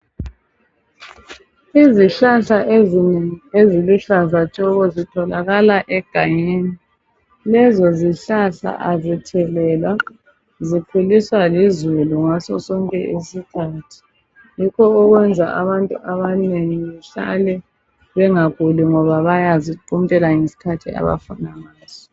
Izihlahla ezinengi eziluhlaza tshoko zitholakala egangeni lezo zihlahla azithelelwa zikhuliswa lizulu ngaso sonke isikhathi. Yikho okwenza abantu abanengi behlale bengaguli ngoba bayaziquntela ngesikhathi abafuna ngaso.